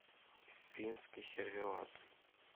финский сервелат